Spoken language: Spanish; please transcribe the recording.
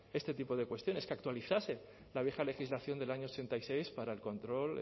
este tipo de cuestiones que actualizarse la vieja legislación del año ochenta y seis para el control